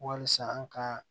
Walisa an ka